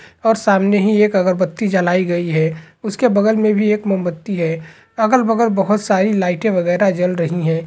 और सामने ही एक अगरबत्ती जलाई गई है उसके बगल मे भी एक मोमबत्ती है अगल बगल बहोत सारी लाइटे वगेरह जल रही है।